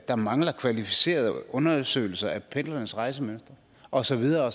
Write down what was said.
der mangler kvalificerede undersøgelser af pendlernes rejsemønstre og så videre